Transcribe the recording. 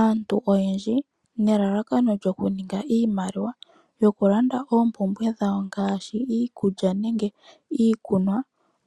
Aantu oyendji nelalakano lyokuninga iimaliwa yokulanda oompumbwe dhawo ngaashi iikulya nenge iikunwa